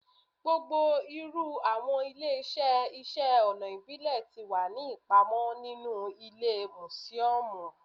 Gbogbo iru awọn ile-iṣẹ iṣẹ ọna ibile ti wa ni ipamọ ninu ile musiọmu